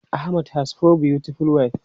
Ahmed has four beautiful wives.